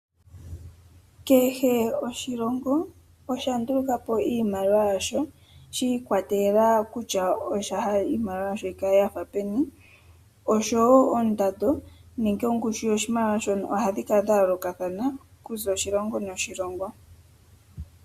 Kehe oshilongo osha nduluka po iimaliwa yasho shiikwatelela kutya osha hala iimaliwa yasho yi kale yafa peni. Oshowo oondando nenge ongushu yoshimaliwa shono ohadhi kala dha yoolokathana okuza oshilongo noshilongo.